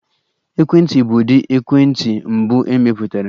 Ekwentị bụ ụdị ekwentị mbụ emepụtara.